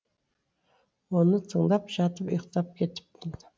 оны тыңдап жатып ұйықтап кетіппін